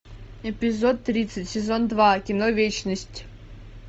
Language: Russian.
эпизод тридцать сезон два кино вечность